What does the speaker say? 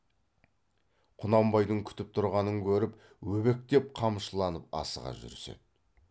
құнанбайдың күтіп тұрғанын көріп өбектеп қамшыланып асыға жүріседі